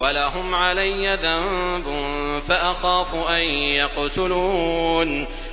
وَلَهُمْ عَلَيَّ ذَنبٌ فَأَخَافُ أَن يَقْتُلُونِ